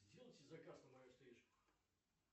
сделайте заказ на мою стрижку